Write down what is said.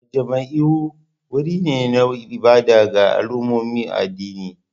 Majami'u wuri ne na ibada ga al'ummomin addini